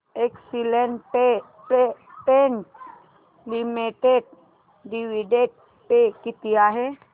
Asian paints limited dividend pay किती आहे